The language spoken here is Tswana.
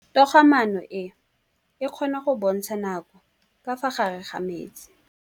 Toga-maanô e, e kgona go bontsha nakô ka fa gare ga metsi.